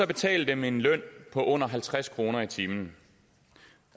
betale dem en løn på under halvtreds kroner i timen